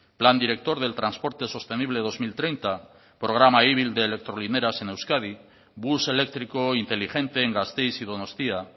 plan director del transporte sostenible dos mil treinta programa ibil de electrolineras en euskadi bus eléctrico inteligente en gasteiz y donostia